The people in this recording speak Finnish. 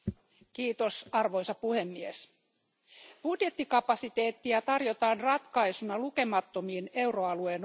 Arvoisa puhemies, budjettikapasiteettia tarjotaan ratkaisuna lukemattomiin euroalueen ongelmiin.